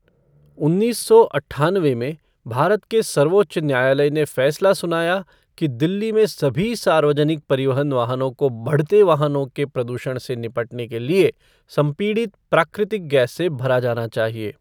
उन्नीस सौ अट्ठानवे में, भारत के सर्वोच्च न्यायालय ने फैसला सुनाया कि दिल्ली में सभी सार्वजनिक परिवहन वाहनों को बढ़ते वाहनों के प्रदूषण से निपटने के लिए संपीड़ित प्राकृतिक गैस से भरा जाना चाहिए।